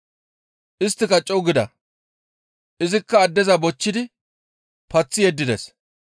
Isttika co7u gida; izikka addeza bochchidi paththi yeddides.